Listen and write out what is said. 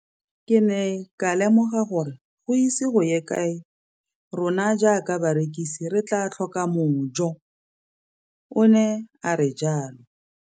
Ke ne ka lemoga gore go ise go ye kae rona jaaka barekise re tla tlhoka mojo, o ne a re jalo.